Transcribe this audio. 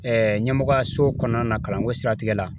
ɲɛmɔgɔyaso kɔnɔna la kalanko siratigɛ la